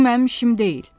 Bu mənim işim deyil.